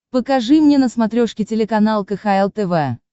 покажи мне на смотрешке телеканал кхл тв